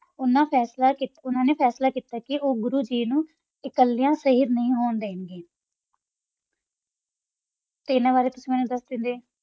ਓਨਾ ਨਾ ਫਾਸਲਾ ਕੀਤਾ ਕਾ ਓਹੋ ਗੁਰੋ ਗੀ ਨੂ ਕਲਾ ਨਹੀ ਹੋਣ ਡੰਡਾ